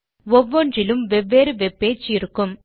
ஒவ்வொன்றிலும் வெவ்வேறு web page இருக்கும்